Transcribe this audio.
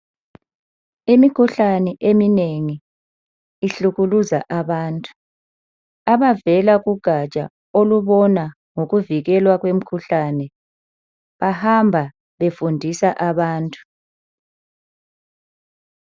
Imikhuhlane eminengi ihlukuluza abantu. Abavela kugatsha okubona ngokuvikelwa kwemikhuhlane bahamba befundisa abantu.